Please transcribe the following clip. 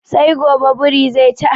Sai gobe birin ze ci ayabar nan.